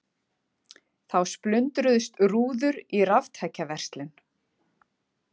Þá splundruðust rúður í raftækjaverslun